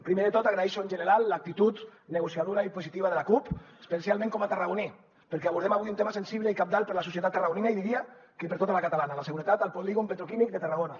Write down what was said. primer de tot agraeixo en general l’actitud negociadora i positiva de la cup especialment com a tarragoní perquè abordem avui un tema sensible i cabdal per a la societat tarragonina i diria que per a tota la catalana la seguretat al polígon petroquímic de tarragona